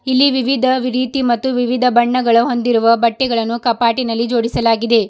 ಇಲ್ಲಿ ವಿವಿಧ ರೀತಿ ಮತ್ತು ವಿವಿಧ ಬಣ್ಣಗಳು ಹೊಂದಿರುವ ಬಟ್ಟೆಗಳನ್ನು ಕಪಾಟಿನಲ್ಲಿ ಜೋಡಿಸಲಾಗಿದೆ.